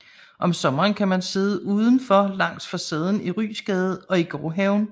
Om sommeren kan man sidde udenfor langs facaden i Ryesgade og i gårdhaven